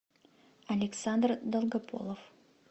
александр долгополов